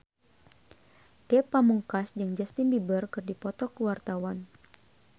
Ge Pamungkas jeung Justin Beiber keur dipoto ku wartawan